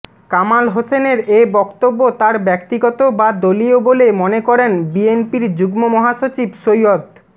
কামাল হোসেনের এ বক্তব্য তার ব্যক্তিগত বা দলীয় বলে মনে করেন বিএনপির যুগ্ম মহাসচিব সৈয়দ